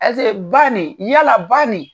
ba nin, yaala ba nin